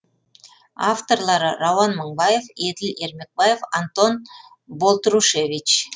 авторлары рауан мыңбаев еділ ермекбаев антон болтрушевич